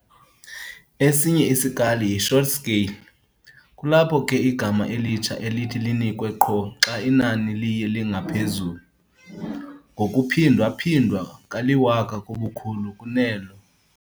Esinye isikali yi-"short scale" kulapho ke igama elitsha elithi linikwe qho xa inani liye lingaphezulu ngokuphindwa-phindwe kaliwaka ngobukhulu kunelo